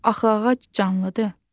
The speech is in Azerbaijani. Axı ağac canlıdır.